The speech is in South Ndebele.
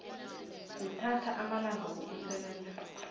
kuthatha amalanga wokusebenza